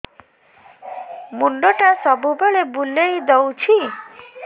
ମୁଣ୍ଡଟା ସବୁବେଳେ ବୁଲେଇ ଦଉଛି